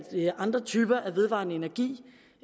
andre typer af vedvarende energi